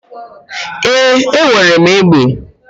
Ee, enwere m egbe.